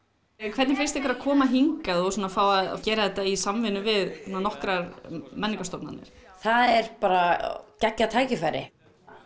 hvernig finnst ykkur að koma hingað og fá að gera þetta í samvinnu við nokkrar menningarstofnanir það er bara geggjað tækifæri